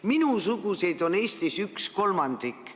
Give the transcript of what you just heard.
Minusuguseid on Eesti rahvast üks kolmandik.